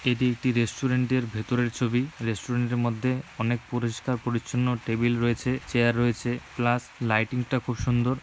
এটি একটি রেস্টুরেন্ট এর ভেতরের ছবি রেস্টুরেন্ট এর মধ্যে অনেক পরিষ্কার পরিচ্ছন্ন টেবিল রয়েছে চেয়ার রয়েছে প্লাস লাইটিং টা খুব সুন্দর।